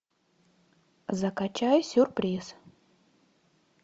закачай сюрприз